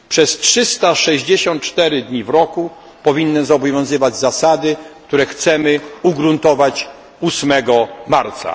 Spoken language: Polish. Przez 364 dni w roku powinny obowiązywać zasady, które chcemy ugruntować 8 marca.